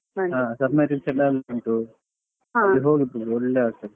ಹಾ sub marine ಎಲ್ಲ ಉಂಟು ಮತ್ತೆ ಒಳ್ಳೆದಾಗತ್ತದೆ.